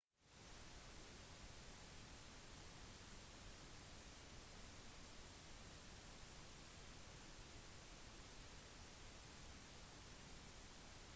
søket måtte stoppes på grunn av det samme problematiske været som hadde ført til den avbrutte landingen